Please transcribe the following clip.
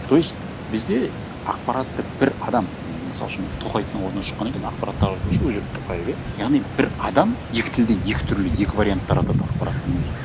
то есть бізде ақпаратты бір адам мысал үшін тоқаевтың ауызынан шыққаннан кейін ақпарат таратушы ол жерде тоқаев иә яғни бір адам екі тілде екі түрлі екі вариант таратады ақпараттың өзін